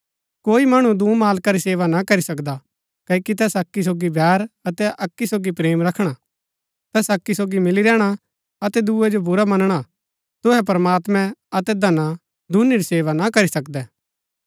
कोई मणु दूँ मालका री सेवा न करी सकदा क्ओकि तैस अक्की सोगी बैर अतै अक्की सोगी प्रेम रखणा तैस अक्की सोगी मिली रैहणा अतै दूये जो बुरा मनणा तुहै प्रमात्मैं अतै धना दूनी री सेवा ना करी सकदै